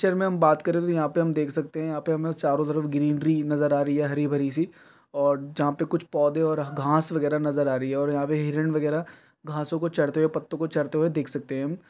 picture मे हम बात करे तो यहां पे हम देख सकते हैं आप हमें चारों तरफ ग्रीनरी नजर आ रही है हरी-भरी सी और जहां पे कुछ पौधे और घास वगैरह नजर आ रही है और यहां पे हिरण वगैरह घासों को चरते हुए पत्तों को चरते हुए देख सकते हैं हम --